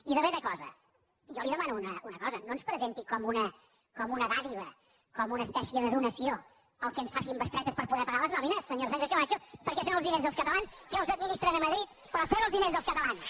i darrera cosa jo li demano una cosa no ens presenti com una dádiva com una espècia de donació el fet que ens facin bestretes per poder pagar les nòmines senyora sánchez camacho perquè són els diners dels catalans que els administren a madrid però són els diners dels catalans